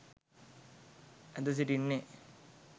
ඇඳ සිටින්නේ